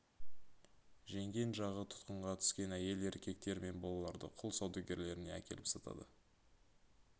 жеңген жағы тұтқынға түскен әйел еркектер мен балаларды құл саудагерлеріне әкеліп сатады